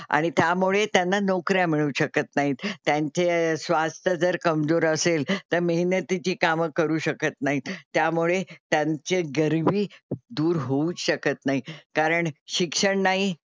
आणि त्यामुळे त्यांना नोकऱ्या मिळू शकत नाही. त्यांचे स्वास्थ्य जर कमजोर असेल तर मेहनतीची कामं करू शकत नाही. त्यामुळे त्यांची गरीबी दूर होऊच शकत नाही कारण शिक्षण नाही,